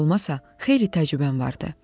Nə də olmasa xeyli təcrübəm vardı.